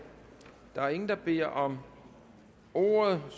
der er ingen der beder om ordet og